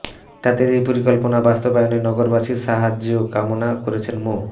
তাদের এই পরিকল্পনা বাস্তবায়নে নগরবাসীর সাহায্যও কামনা করেছেন মো